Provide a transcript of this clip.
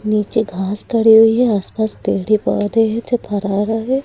नीचे घास पड़ी हुई है आसपास पेड़े पौधे हैं जो रहे है।